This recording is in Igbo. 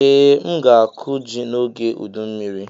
Ee, m ga-akụ ji n'oge ụdụ mmiri.